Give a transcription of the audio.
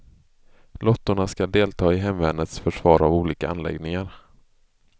Lottorna ska delta i hemvärnets försvar av olika anläggningar.